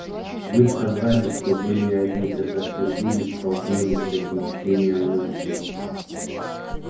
вы сказали что были одни когда впервые столкнулись с этим чтением мыслей